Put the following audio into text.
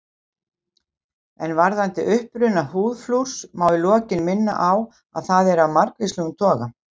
En varðandi uppruna húðflúrs má í lokin minna á að það er af margvíslegum toga.